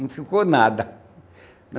Não ficou nada.